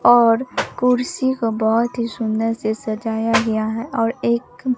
और कुर्सी को बहोत ही सुंदर से सजाया गया है और एक--